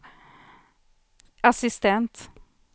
assistent